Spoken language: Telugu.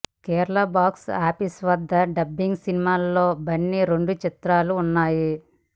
కేరళ బాక్స్ ఆఫీస్ వద్ద డబ్బింగ్ సినిమాలలో బన్నీ రెండు చిత్రాలు ఉన్నాయి